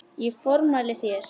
Ég formæli þér